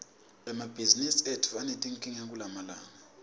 emabhizimisi etfu anetinkinga kulamalanga